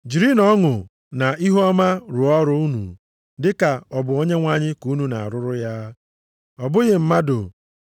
Jirinụ ọṅụ na ihuọma rụọ ọrụ unu dị ka ọ bụ Onyenwe anyị ka unu na-arụrụ ya, ọ bụghị mmadụ.